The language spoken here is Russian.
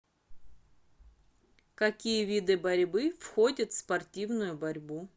какие виды борьбы входят в спортивную борьбу